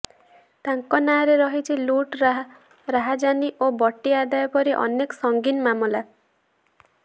ତାଙ୍କ ନାଁରେ ରହିଛି ଲୁଟ୍ ରାହାଜାନୀ ଓ ବଟି ଆଦାୟ ପରି ଅନେକ ସଙ୍ଗୀନ ମାମଲା